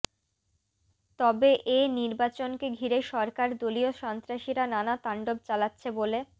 তবে এ নির্বাচনকে ঘিরে সরকার দলীয় সন্ত্রাসীরা নানা তাণ্ডব চালাচ্ছে বলে